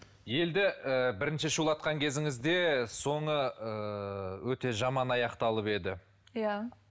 елді ыыы бірінші шуулатқан кезіңізде соңы ыыы өте жаман аяқталып еді иә